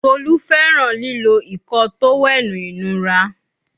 Tolu fẹràn lilo Ìkọ́ọ tówẹ́ẹ̀nù inura